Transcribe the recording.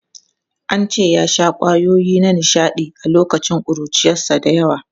An ce ya sha kwayoyi na nishaɗi a lokacin ƙuruciyarsa da yawa.